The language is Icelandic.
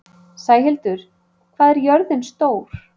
Sæhildur, hvað er jörðin stór?